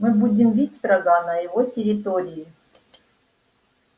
мы будем бить врага на его территории